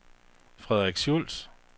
Frederik Schulz